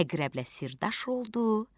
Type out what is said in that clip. Əqrəblə sirrdaş oldu.